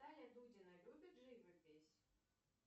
таня дудина любит живопись